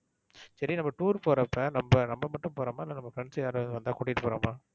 சரி நம்ப tour போறப்ப நம்ப நம்ப மட்டும் போறோமா? இல்ல நம்ப friends யாராவது வந்தா கூட்டிட்டு போறோமா?